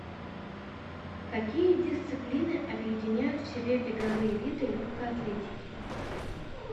какие дисциплины объединяют в себе беговые виды легкой атлетики